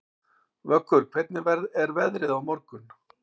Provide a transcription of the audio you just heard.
Vöggur, hvernig er veðrið á morgun?